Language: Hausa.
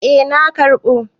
Eh na karɓa.